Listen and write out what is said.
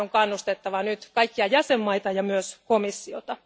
Tähän on kannustettava nyt kaikkia jäsenmaita ja myös komissiota.